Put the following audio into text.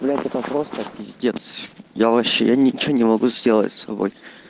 ну это просто пиздец я вообще я ничего не могу сделать с собой